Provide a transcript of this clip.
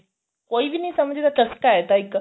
ਕੋਈ ਵੀ ਨਹੀਂ ਸਮਝਦਾ ਚਸਕਾ ਏ ਇਹ ਤਾਂ ਇੱਕ